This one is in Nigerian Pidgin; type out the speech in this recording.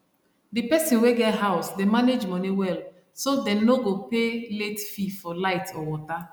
the person wey get house dey manage money well so dem no go pay late fee for light or water